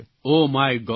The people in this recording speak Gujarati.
oh my God